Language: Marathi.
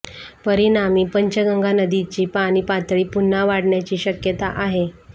परिणामी पंचगंगा नदीची पाणी पातळी पुन्हा वाढण्याची शक्यता आहे